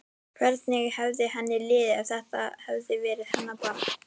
Hvernig hefði henni liðið ef þetta hefði verið hennar barn?